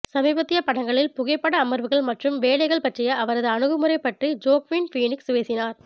சமீபத்திய படங்களில் புகைப்பட அமர்வுகள் மற்றும் வேலைகள் பற்றிய அவரது அணுகுமுறை பற்றி ஜோக்வின் ஃபீனிக்ஸ் பேசினார்